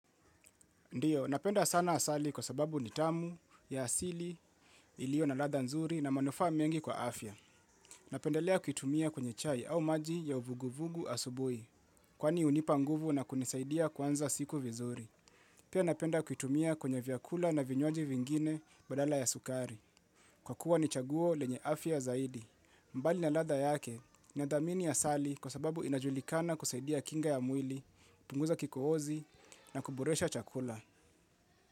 Ndiyo, napenda sana asali kwa sababu nitamu, ya asili, ilio na ladha nzuri na manufaa mengi kwa afya. Napendelea kuitumia kwenye chai au maji ya uvuguvugu asubuhi. Kwani hunipa nguvu na kunisaidia kwanza siku vizuri. Pia napenda kuitumia kwenye vyakula na vinywaji vingine badala ya sukari. Kwa kuwa ni chaguo lenye afya zaidi. Mbali na ladha yake nadhamini asali kwa sababu inajulikana kusaidia kinga ya mwili, kupunguza kikohozi na kuboresha chakula.